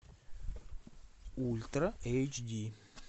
ультра эйч ди